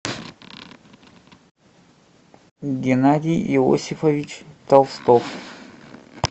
геннадий иосифович толстов